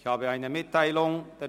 Ich habeeine Mitteilung zu machen: